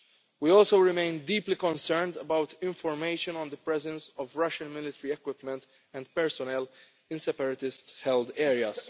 in full. We also remain deeply concerned about information on the presence of Russian military equipment and personnel in separatist held